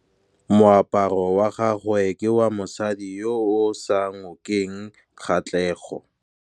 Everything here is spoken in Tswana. Moaparô wa gagwe ke wa mosadi yo o sa ngôkeng kgatlhegô.